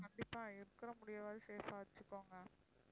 கண்டிப்பா இருக்கிற முடியவாது safe ஆ வச்சிக்கோங்க